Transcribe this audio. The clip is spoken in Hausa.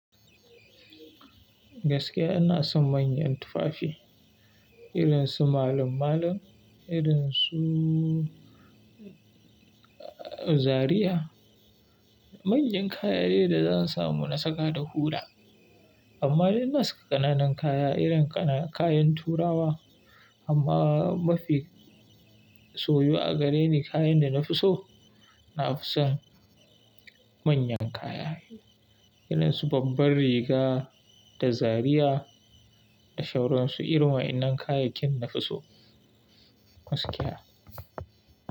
Gaskiya ina son manyan tufafi, irin su malam-malan, irin su Zariya. Manyan kayayyaki da zan samu na saka da hula. Amma dai ina saka ƙananan kaya irin ƙananan kayan turawa amma mafi soyu a gare ni kayan da na fi so, na fi son manyan kayayyaki irin su babbar riga da Zariya da shawaransu, irma in nan kayakin na fi so gaskiya.